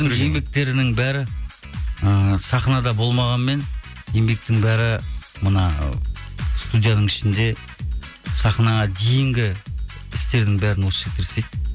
еңбектерінің бәрі ыыы сахнада болмағанмен еңбектің бәрі мына студияның ішінде сахнаға дейінгі істердің бәрін осы жігіттер істейді